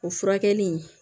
O furakɛli